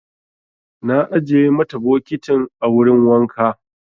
Na ajiye mata bokitin a wurin wanka.